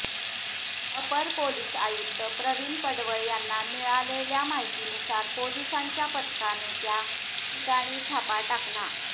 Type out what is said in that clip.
अपर पोलीस आयुक्त प्रवीण पडवळ यांना मिळलेल्या माहितीनुसार पोलिसांच्या पथकाने त्या ठिकाणी छापा टाकला